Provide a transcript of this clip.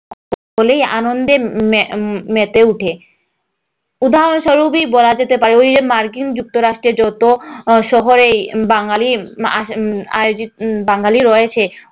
সকলেই আনন্দে মেমেতে ওঠে, উদাহরণস্বরূপ বলা যেতে পারে ওই যে মার্কিন যুক্তরাষ্ট্র শহরেও বসবাসকারী বাঙ্গালী আয়োজিত বাঙালি রয়েছে,